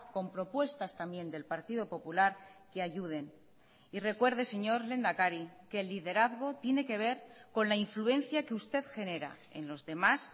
con propuestas también del partido popular que ayuden y recuerde señor lehendakari que el liderazgo tiene que ver con la influencia que usted genera en los demás